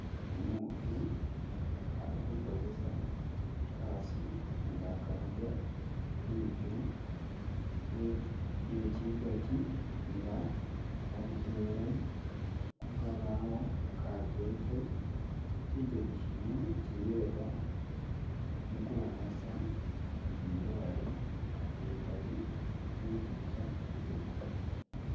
Umutu ali kukozesa kaso nga akalaga liitu lye lye chigachi nga alitele kukabaawo kajeke , chigaji chino chiyeda mukuwonesa zindwaale zikali ze kiika kyidwena da.